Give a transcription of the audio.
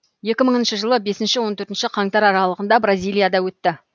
екі мыңыншы жылы бесінші он төртінші қаңтар аралығында бразилияда өтті